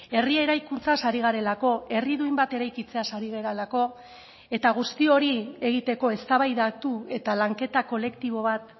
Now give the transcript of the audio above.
herri eraikuntzaz ari garelako herri duin bat eraikitzeaz ari garelako eta guzti hori egiteko eztabaidatu eta lanketa kolektibo bat